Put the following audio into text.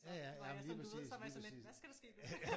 Så var jeg sådan du ved så var jeg sådan lidt hvad skal der ske nu?